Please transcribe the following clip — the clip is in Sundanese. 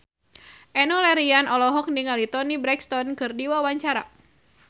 Enno Lerian olohok ningali Toni Brexton keur diwawancara